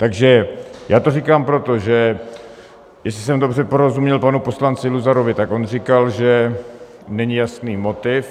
Takže já to říkám proto, že jestli jsem dobře porozuměl panu poslanci Luzarovi, tak on říkal, že není jasný motiv.